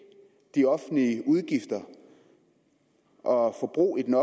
de offentlige udgifter og forbruget i den